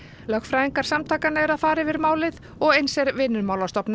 lögfræðingar samtakanna eru að fara yfir málið og eins er Vinnumálastofnun